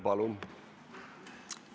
Palun!